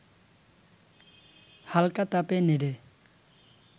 হালকা তাপে নেড়ে